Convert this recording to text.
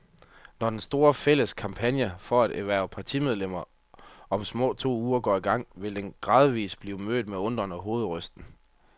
Når den store, fælles kampagne for at hverve partimedlemmer om små to uger går i gang, vil den givetvis blive mødt med undren og hovedrysten.